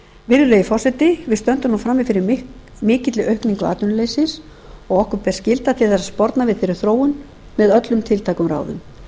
virðulegi forseti við stöndum nú frammi fyrir mikilli aukningu atvinnuleysis og okkur ber skylda til þess að sporna við þeirri þróun með öllum tiltækum ráðum